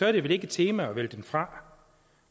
er det vel ikke et tema at vælge den fra